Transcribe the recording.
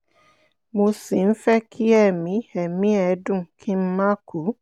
mo sì ń fẹ́ kí ẹ̀mí ẹ̀mí ẹ̀dùn kí n máa kú